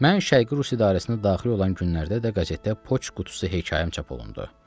Mən şərqi Rus idarəsinə daxil olan günlərdə də qəzetdə Poçt qutusu hekayəm çap olundu.